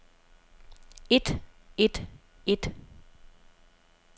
et et et